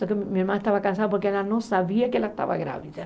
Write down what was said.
Só que minha irmã estava cansada porque ela não sabia que ela estava grávida.